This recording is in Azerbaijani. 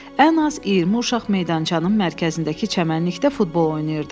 Ən az 20 uşaq meydançanın mərkəzindəki çəmənlikdə futbol oynayırdı.